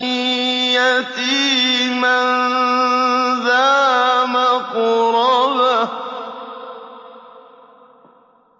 يَتِيمًا ذَا مَقْرَبَةٍ